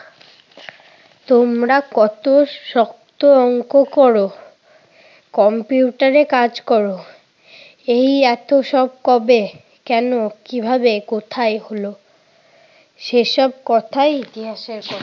তোমরা কত শক্ত অংক কর। কম্পিউটারে কাজ কর। এই এত সব কবে, কেন, কিভাবে, কোথায় হলো? সেসব কথাই